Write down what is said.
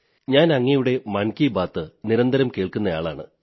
ഞാൻ അങ്ങയുടെ മൻ കീ ബാത് നിരന്തരം കേൾക്കുന്ന ആളാണ്